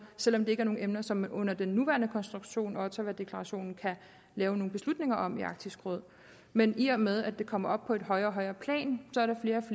selv om det ikke er nogen emner som man under den nuværende konstruktion ottawadeklarationen kan lave nogen beslutninger om i arktisk råd men i og med at det kommer op på et højere og højere plan